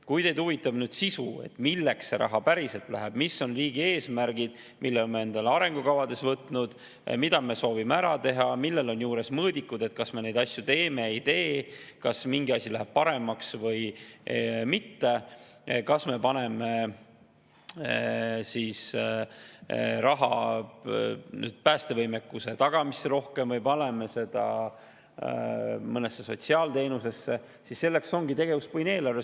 Kui teid huvitab sisu, milleks see raha päriselt läheb – mis on riigi eesmärgid, mille me oleme endale arengukavades võtnud, mida me soovime ära teha, millel on juures mõõdikud, et kas me neid asju teeme või ei tee, kas mingi asi läheb paremaks või mitte, kas me paneme rohkem raha päästevõimekuse tagamisse või mõnesse sotsiaalteenusesse –, siis selleks ongi tegevuspõhine eelarve.